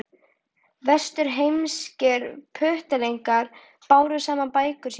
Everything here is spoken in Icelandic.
Vesturheimskir puttalingar báru saman bækur sínar.